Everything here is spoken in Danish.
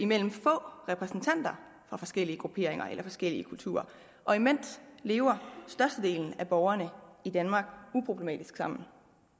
mellem få repræsentanter fra forskellige grupperinger eller forskellige kulturer og imens lever størstedelen af borgerne i danmark uproblematisk sammen